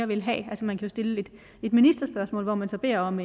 vil have altså man kan stille et ministerspørgsmål hvor man så beder om